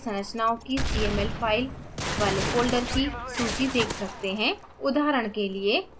हम विभिन रासायनिक संरचनाओ की cml files वाले folders की सूची देख सकते हैं